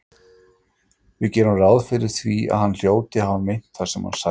Við gerum því ráð fyrir að hann hljóti að hafa meint það sem hann sagði.